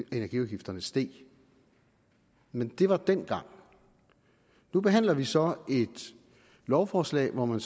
energiafgifterne steg men det var dengang nu behandler vi så et lovforslag hvor man